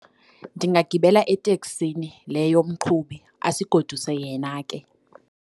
Ndingagibela eteksini le yomqhubi asigoduse yena ke.